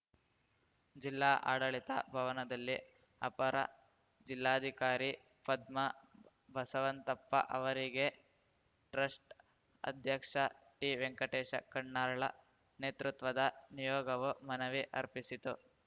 ಜಿಲ್ಲಾ ಆಡಳಿತ ಭವನದಲ್ಲಿ ಅಪರ ಜಿಲ್ಲಾಧಿಕಾರಿ ಪದ್ಮಾ ಬಸವಂತಪ್ಪ ಅವರಿಗೆ ಟ್ರಸ್ಟ್‌ ಅಧ್ಯಕ್ಷ ಟಿವೆಂಕಟೇಶ ಕಣ್ಣಾಳರ್‌ ನೇತೃತ್ವದ ನಿಯೋಗವು ಮನವಿ ಅರ್ಪಿಸಿತು